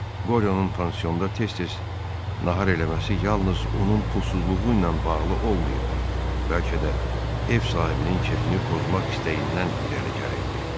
Qoryonun pansionda tez-tez nahar eləməsi yalnız onun pulsuzluğu ilə bağlı olmayıb, bəlkə də ev sahibinin kefini pozmaq istəyindən irəli gəlirdi.